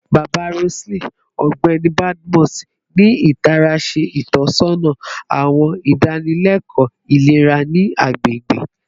Baba Roseline, Ọgbẹni Badmus, ni itara ṣe itọsọna awọn idanileko ilera ni agbegbe